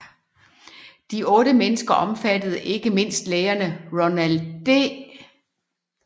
De otte mennesker omfattede ikke mindst lægerne Ronald D